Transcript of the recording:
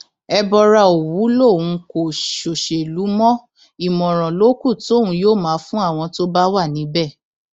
ẹbọra òwú lòun kò ṣòṣèlú mọ ìmọràn ló kù tóun yóò máa fún àwọn tó bá wà níbẹ